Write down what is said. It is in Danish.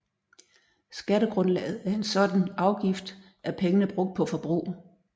Skattegrundlaget af en sådan afgift er pengene brugt på forbrug